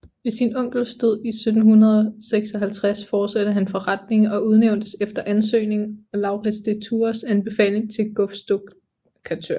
Ved sin onkels død 1756 fortsatte han forretningen og udnævntes efter ansøgning og Lauritz de Thurahs anbefaling til gofstukkatør